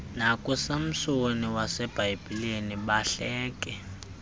nakusamsoni wasebhayibhileni bahleke